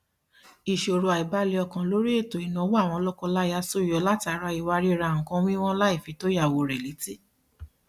ìṣòro àìbalẹ ọkan lórí ètò ìnáwó àwọn lọkọláya ṣúyọ látara ìwà ríra nǹkan wíwọn láìfi tó ìyàwó rẹ létí